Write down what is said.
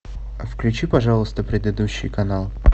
включи пожалуйста предыдущий канал